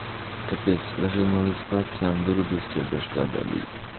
капец ложил малых спать сам вырубился теперь башка болит